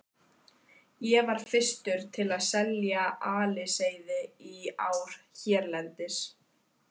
Ég var fyrstur til að selja aliseiði í ár hérlendis.